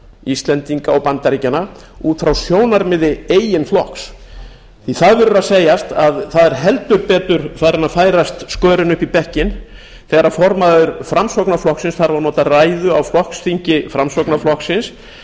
íslendinga og bandaríkjanna út frá sjónarmiði eigin flokks því að það verður að segjast að það er heldur betur farin að færast skörin upp í bekkinn þegar formaður framsóknarflokksins þarf að nota ræðu á flokksþingi framsóknarflokksins